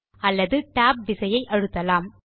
அல்லது TAB விசையை அழுத்தலாம்